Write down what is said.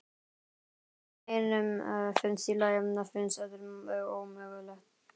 Það sem einum finnst í lagi finnst öðrum ómögulegt.